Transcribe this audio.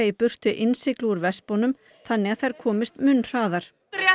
burtu innsigli úr þannig að þær komist mun hraðar rétt